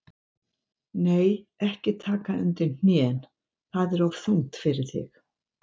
Nei, ekki taka undir hnén, það er of þungt fyrir þig.